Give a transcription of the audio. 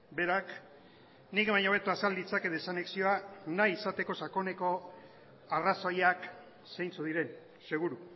berak nik baino hobeto azal ditzake desanexioa nahi izateko sakoneko arrazoiak zeintzuk diren seguru